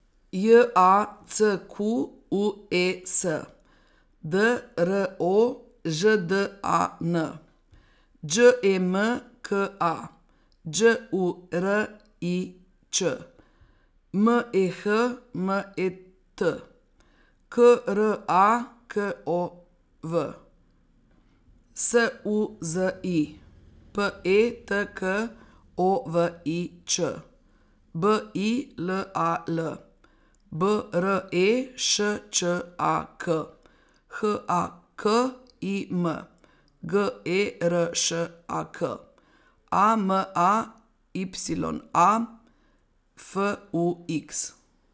J A C Q U E S, D R O Ž D A N; Đ E M K A, Đ U R I Ć; M E H M E T, K R A K O W; S U Z I, P E T K O V I Ć; B I L A L, B R E Š Č A K; H A K I M, G E R Š A K; A M A Y A, F U X.